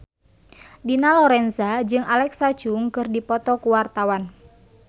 Dina Lorenza jeung Alexa Chung keur dipoto ku wartawan